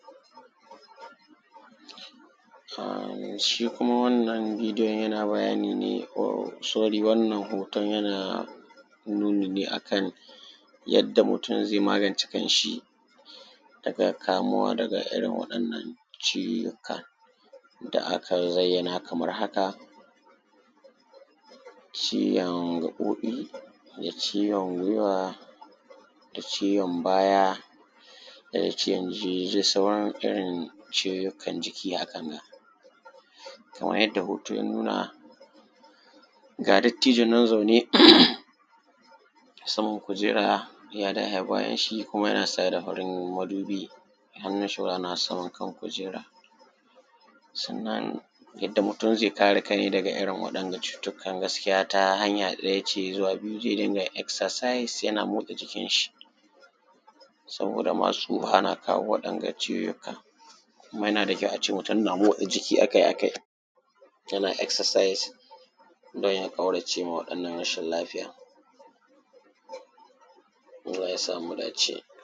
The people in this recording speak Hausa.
shi kuma wannan bidiyon yana bayani ne sorry wannan hoton yana nuni ne a kan yadda mutum zai magance kanshi daga kamuwa da irin waɗannan ciwukkan da aka zayyana kamar haka ciwon gaɓoɓi da ciwon gwiwa da ciwon baya da ciwon jinjisin irin ciwon jikki hakanga kamar yadda hoto ya nuna ga dattijo nan zaune saman kujera yaa dahe bayansa kuma yana saye da farin madubi hannunshi na saman kujera sannan yadda mutum zai kare kai nai daga irin waɗanga cutukkan gaskiya hanya ɗaya ce zuwa biyu zai dinga exercise yana motsa jikinshi saboda ma su ana kawo waɗanga ciwukkan kuma yana da kyau a ce mutum yana motsa jikki a kai a kai yana exercise don ya ƙaurace ma waɗannan rashin lafiyar allah ya sa mu dace